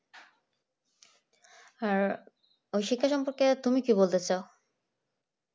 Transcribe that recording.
আর ওই শিক্ষা সম্পর্কে তুমি কি বলতে চাও